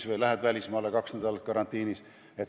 Ja kui lähed välismaale, oled ka kaks nädalat karantiinis.